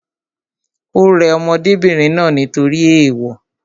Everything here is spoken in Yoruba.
Ò rẹ ọmọdébìnrin náà nítorí ééwo